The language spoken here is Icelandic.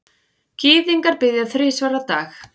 Gyðingar biðja þrisvar á dag.